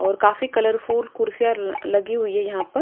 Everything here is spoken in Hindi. और काफी कलरफुल कुर्सियां लगी हुई है यहां पर--